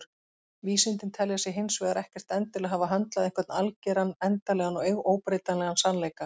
Vísindin telja sig hins vegar ekkert endilega hafa höndlað einhvern algeran, endanlegan og óbreytanlegan sannleika.